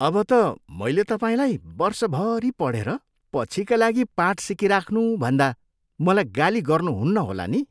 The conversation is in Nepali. अब त मैले तपाईँलाई वर्षभरि पढेर पछिका लागि पाठ सिकिराख्नु भन्दा मलाई गाली गर्नुहुन्न होला नि?